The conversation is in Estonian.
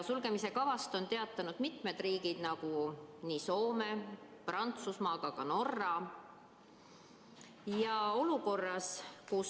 Sulgemise kavast on teatanud mitmed riigid, nagu Soome ja Prantsusmaa, aga ka Norra.